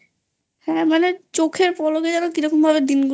হ্যাঁ মানে চোখের পলকে কিরকম দিন গুলো